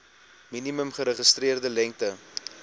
minimum geregistreerde lengte